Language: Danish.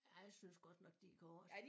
Ja jeg synes godt nok de korte